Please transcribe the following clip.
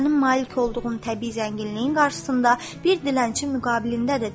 O sənin malik olduğun təbii zənginliyin qarşısında bir dilənçi müqabilində də deyil.